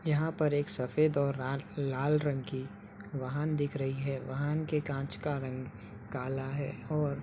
यहां पर एक सफेद और लार लाल रंग की वाहन दिख रही है। वाहन के कांच का रंग काला है और --